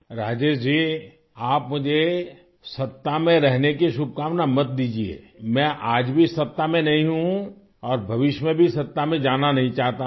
راجیش جی، آپ مجھے اقتدار میں رہنے کی نیک خواہشات مت دیجئے، میں آج بھی اقتدار میں نہیں ہوں اور مستقبل میں بھی اقتدار میں جانا نہیں چاہتا ہوں